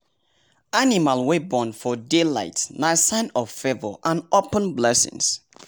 animal wey born for day light nah sign of favour and open blessings